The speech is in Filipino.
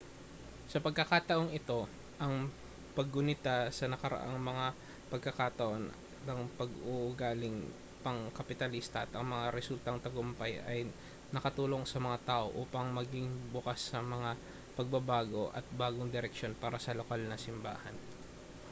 sa pagkakataong ito ang paggunita sa nakaraang mga pagkakataon ng pag-uugaling pangkapitalista at ang mga resultang tagumpay ay nakatulong sa mga tao upang maging bukas sa mga pagbabago at bagong direksyon para sa lokal na simbahan